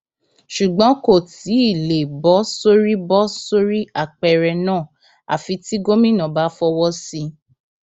ṣùgbọn kò tí ì lè bọ sórí bọ sórí apẹrẹ náà àfi tí gómìnà bá fọwọ sí i